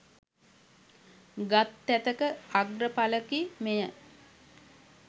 ගත් තැතක අග්‍රඵලකි මෙය.